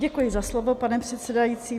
Děkuji za slovo, pane předsedající.